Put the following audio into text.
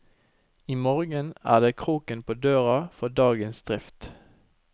I morgen er det kroken på døra for dagens drift.